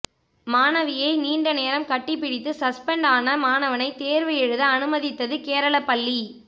மாணவியை நீண்ட நேரம் கட்டி பிடித்து சஸ்பென்ட் ஆன மாணவனை தேர்வு எழுத அனுமதித்தது கேரள பள்ளி